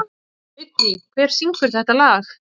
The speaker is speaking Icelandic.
Vigný, hver syngur þetta lag?